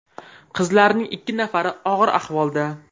Qizlarning ikki nafari og‘ir ahvolda.